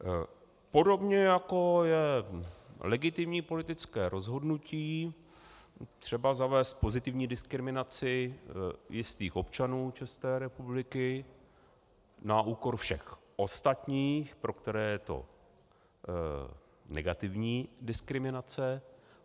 Podobně jako je legitimní politické rozhodnutí třeba zavést pozitivní diskriminaci jistých občanů České republiky na úkor všech ostatních, pro které je to negativní diskriminace.